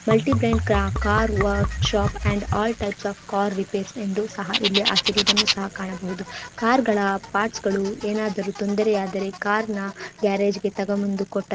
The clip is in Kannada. ಮಲ್ಟಿ ಬ್ರಾಂಡ್ ಕಾ car workshop and all types of car repairs ಎಂದು ಸಹ ಇಲ್ಲಿ ಹಾಕಿರುವುದನ್ನು ಸಹ ಕಾಣಬಹುದು ಕಾರ್ಗಳ ಪಾರ್ಟ್ಸ್ ಗಳು ಏನಾದರೂ ತೊಂದರೆಯಾದರೆ ಕಾರ್ನ ಗ್ಯಾರೇಜ್ ಗೆ ತಗಂಬಂದು ಬಂದು ಕೊಟ್ಟ --